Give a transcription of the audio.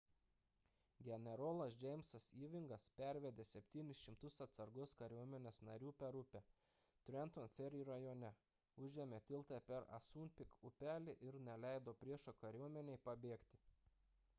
generolas jamesas ewingas pervedė 700 atsargos kariuomenės narių per upę trenton ferry rajone užėmė tiltą per assunpink upelį ir neleido priešo kariuomenei pabėgti